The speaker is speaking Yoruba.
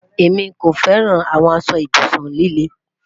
Emi ko fẹran awọn ibusun lile